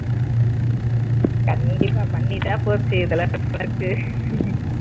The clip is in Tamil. கண்டிப்பா பண்ணிட்டா போச்சு இதுல என்ன இருக்கு